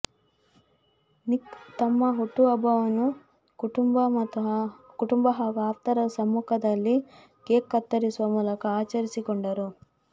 Nick ತಮ್ಮ ಹುಟ್ಟುಹಬ್ಬವನ್ನು ಕುಟುಂಬ ಹಾಗೂ ಆಪ್ತರ ಸಮ್ಮುಖದಲ್ಲಿ ಕೇಕ್ ಕತ್ತರಿಸುವ ಮೂಲಕ ಆಚರಿಸಿಕೊಂಡರು